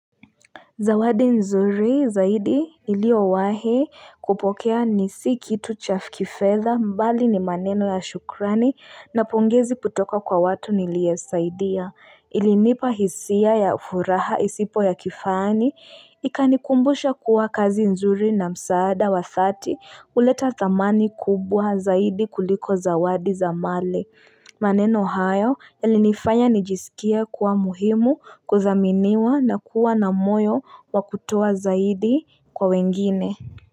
Zawadi nzuri zaidi iliowahe kupokea nisi kitu chafkifedha mbali ni maneno ya shukrani na pungezi putoka kwa watu niliesaidia. Ilinipa hisia ya furaha isipo ya kifani ikanikumbusha kuwa kazi nzuri na msaada wa uleta dhamani kubwa zaidi kuliko zawadi za male. Maneno hayo yalinifanya nijisikia kuwa muhimu kuzaminiwa na kuwa na moyo wakutoa zaidi kwa wengine.